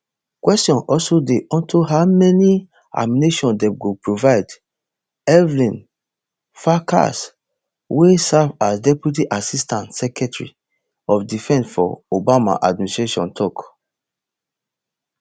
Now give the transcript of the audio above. questions also dey unto how many ammunitions dem go provide evelyn farkas wey serve as deputy assistant secretary of defence for obama administration tok